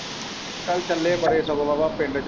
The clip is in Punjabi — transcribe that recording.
ਕੱਲ੍ਹ ਚੱਲੇ ਪਿੰਡ।